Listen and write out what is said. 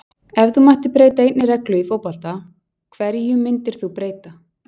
Ef þú mættir breyta einni reglu í fótbolta, hverju myndir þú breyta?